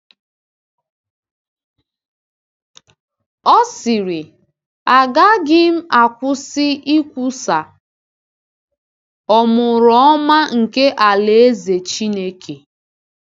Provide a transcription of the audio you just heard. Ọ sịrị: “Agaghị m akwụsị ikwusa ọmụrụọma nke alaeze Chineke.”